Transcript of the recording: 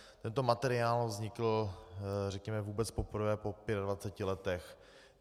Tento materiál vznikl, řekněme, vůbec poprvé po 25 letech.